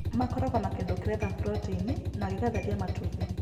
Makoragwo na kĩndũ kĩretha proteini na gĩgatheria matumbi.